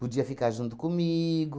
Podia ficar junto comigo.